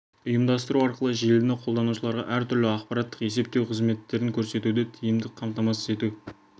ұйымдастыру арқылы желіні қолданушыларға әр түрлі ақпараттық есептеу қызметтерін көрсетуді тиімді қамтамасыз ету